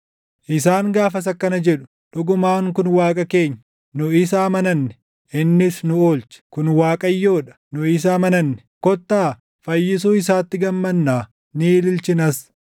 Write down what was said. Isaan gaafas akkana jedhu; “Dhugumaan kun Waaqa keenya; nu isa amananne; innis nu oolche. Kun Waaqayyoo dha; nu isa amananne; kottaa fayyisuu isaatti gammannaa; ni ililchinas.”